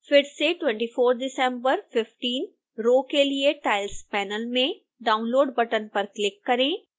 फिर से 24dec15 row के लिए tiles panel में download बटन पर क्लिक करें